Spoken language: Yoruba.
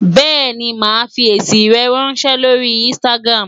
Bẹ́ẹ̀ni, màá fi èsì rẹ ráńṣẹ́ lórí Instagram.